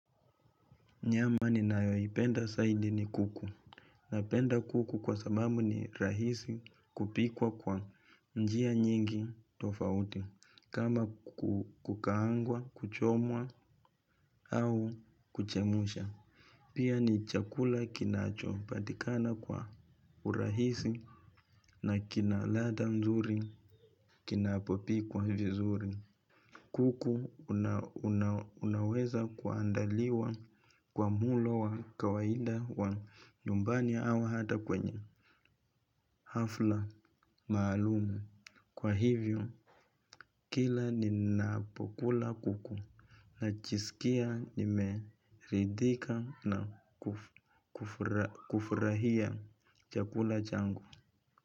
Nyama ninayoipenda saidi ni kuku. Napenda kuku kwa sababu ni rahisi kupikwa kwa njia nyingi tofauti. Kama kukaangwa, kuchomwa, au kuchemusha. Pia ni chakula kinacho patikana kwa urahisi na kina ladha mzuri kinapopikwa vizuri. Kuku unaweza kuandaliwa kwa mulo wa kawaida wa nyumbani ya au hata kwenye hafla maalumu. Kwa hivyo, kila ninapokula kuku najisikia nimeridhika na kufurahia chakula changu.